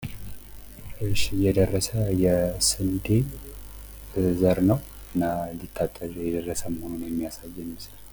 የደረሰ የስንዴ ዘር ነው እና ሊታጨድ የደረሰ መሆኑን የሚያሳየን ይመስላል።